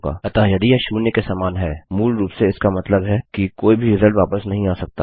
अतः यदि यह 0 के समान है मूलरूप से इसका मतलब है कि कोई भी रिजल्ट वापस नहीं आ सकता है